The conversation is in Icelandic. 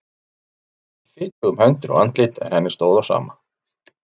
Hún var öll orðin fitug um hendur og andlit en henni stóð á sama.